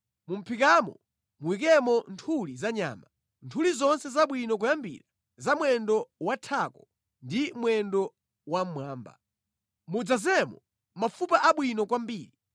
Mu mʼphikamo muyikemo nthuli za nyama, nthuli zonse zabwino kwambiri za mwendo wathako ndi mwendo wamwamba. Mudzadzemo mafupa abwino kwambiri.